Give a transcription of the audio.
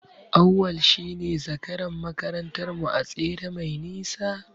Auwal shine zakaran makarantar mu a tsere mai nisa.